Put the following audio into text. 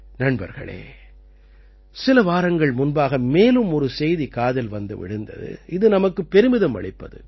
நண்பர்களே சில வாரங்கள் முன்பாக மேலும் ஒரு செய்தி காதில் வந்து விழுந்தது இது நமக்கு பெருமிதம் அளிப்பது